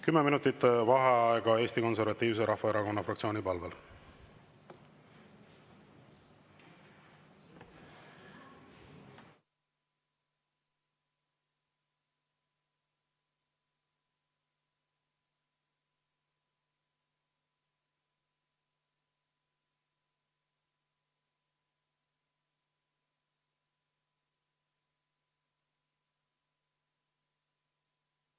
Kümme minutit vaheaega Eesti Konservatiivse Rahvaerakonna fraktsiooni palvel.